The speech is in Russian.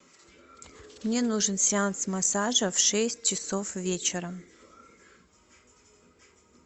мне нужен сеанс массажа в шесть часов вечера